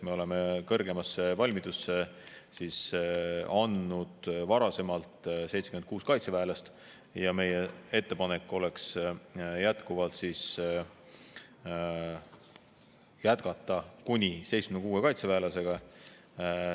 Me oleme kõrgemasse valmidusse andnud varasemalt 76 kaitseväelast ja meie ettepanek oleks jätkata kuni 76 kaitseväelasega.